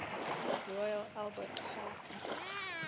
royal albert hall